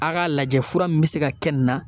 A k'a lajɛ fura min bɛ se ka kɛ nin na.